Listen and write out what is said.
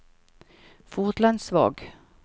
Fotlandsvåg